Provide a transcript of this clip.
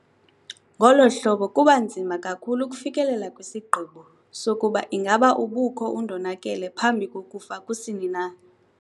Ngolo hlobo kuba nzima kakhulu ukufikelela kwisigqibo sokuba ingaba ubukho undonakele phambi kokufa kusini na.